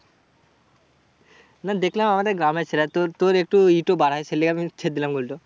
না দেখলাম আমাদের গ্রামের ছেলে। আর তোর তোর একটু ই টো বাড়াই। তাহলে আমি ছেড়ে দিলাম goal টো।